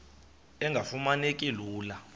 engafuma neki lula